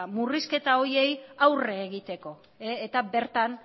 murrizketa horiei aurre egiteko eta bertan